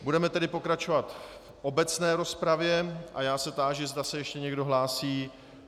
Budeme tedy pokračovat v obecné rozpravě a já se táži, zda se ještě někdo hlásí.